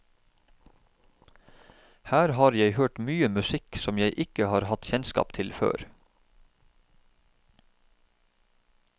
Her har jeg hørt mye musikk som jeg ikke har hatt kjennskap til før.